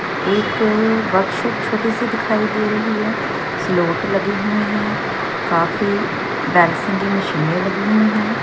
ये तो दिखाई दे रही है स्लॉट लगे हुए हैं काफी की मशीनें लगी हुई हैं।